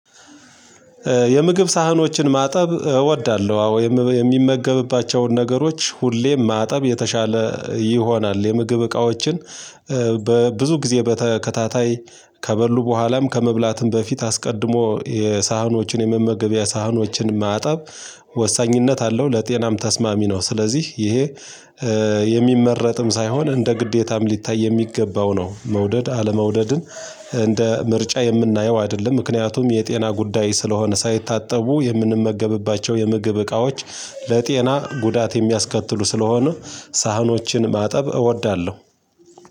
የምግብ ሳህኖችን ማጠብ እወዳለሁ። አዎ የም የሚመገብባቸውን ነገሮች ሁሌ ማጠብ የተሻለ ይሆናል የምግብ እቃዎችን በብዙ ጊዜ በተከታታይ ከበሉ በኋላም ከመብላትም በፊት አስቀድሞ የሳህኖችን የመመገቢያ ሳህኖችን ማጠብ ወሳኝነት አለው ለጤናም ተስማሚ ነው። ስለዚህ ይሄ የሚመረጥም ሳይሆን እንደ ግዴታም ሊታይ የሚገባው ነው። መውደድ አለመውደድን እንደ ምርጫ የምናየው አይደለም። ምክንያቱም የጤና ጉዳይ ስለሆነ ሳይታጠቡ የምንመገብባቸው የምግብ እቃዎች ለጤና ጉዳት የሚያስከትሉ ስለሆኑ ሳህኖችን ማጠብ እወዳለሁ።